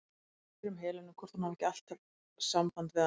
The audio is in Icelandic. Ég spyr um Helenu, hvort hún hafi ekki alltaf samband við hana?